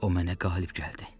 O mənə qalib gəldi.